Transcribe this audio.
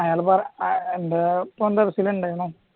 അയാളാണ് എൻറ്റെ മോൻറ്റെ